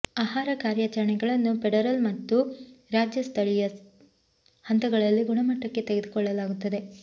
ಆಹಾರ ಕಾರ್ಯಾಚರಣೆಗಳನ್ನು ಫೆಡರಲ್ ಮತ್ತು ರಾಜ್ಯ ಮತ್ತು ಸ್ಥಳೀಯ ಹಂತಗಳಲ್ಲಿ ಗುಣಮಟ್ಟಕ್ಕೆ ತೆಗೆದುಕೊಳ್ಳಲಾಗುತ್ತದೆ